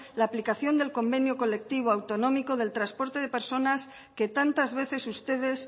la aplicación del convenio colectivo autonómico del transporte de personas que tantas veces ustedes